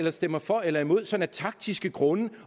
eller stemmer for eller imod sådan af taktiske grunde